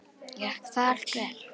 Gekk það allt vel.